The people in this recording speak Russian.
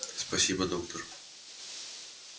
спасибо доктор